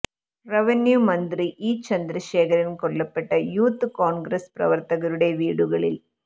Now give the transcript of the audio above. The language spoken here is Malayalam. റവന്യൂ മന്ത്രി ഇ ചന്ദ്രശേഖരൻ കൊല്ലപ്പെട്ട യൂത്ത് കോൺഗ്രസ് പ്രവർത്തകരുടെ വീടുകളിൽ